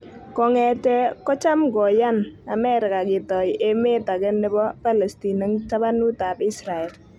Kong'ete ko cham ko yani Amerika ketoi emet age nebo Palestin eng tabanut ab Israel